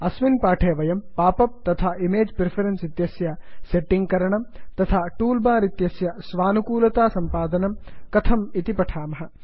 अस्मिन् पाठे वयं पाप् अप् तथा इमेज् प्रिफरेन्स् इत्यस्य सेट्टिंग् करणं तथा टूल् बार् इत्यस्य स्वानुकूलतासम्पादनं कथम् इति पठामः